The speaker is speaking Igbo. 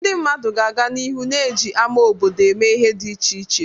Ndị mmadụ ga-aga n'ihu na-eji ama obodo eme ihe dị iche iche.